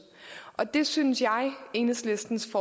og det synes jeg enhedslistens